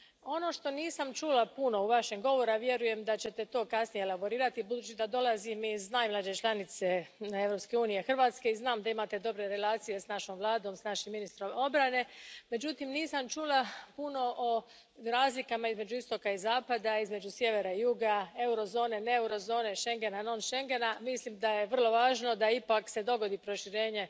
Ono što nisam čula puno u Vašem govoru, a vjerujem da ćete to kasnije elaborirati, budući da dolazim iz najmlađe članice Europske unije, Hrvatske, i znam da imate dobre relacije s našom Vladom, s našim ministrom obrane, međutim, nisam čula puno o razlikama između istoka i zapada, između sjevera i juga, eurozone, ne eurozone, schengena, non schengena. Mislim da je vrlo važno da se ipak dogodi proširenje